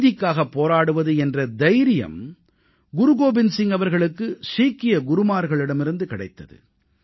நீதிக்காகப் போராடுவது என்ற தைரியம் குரு கோபிந்த் சிங் அவர்களுக்கு சீக்கிய குருமார்களிடமிருந்து கிடைத்தது